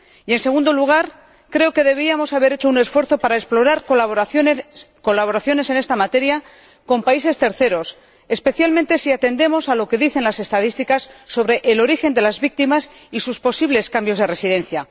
En segundo lugar, creo que deberíamos haber hecho un esfuerzo para explorar colaboraciones en esta materia con países terceros, especialmente si atendemos a lo que dicen las estadísticas sobre el origen de las víctimas y sus posibles cambios de residencia.